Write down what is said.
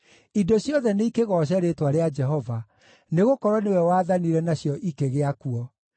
Indo ciothe nĩikĩgooce rĩĩtwa rĩa Jehova, nĩgũkorwo nĩwe wathanire na cio ikĩgĩa kuo.